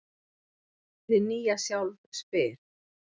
Hið nýja sjálf spyr: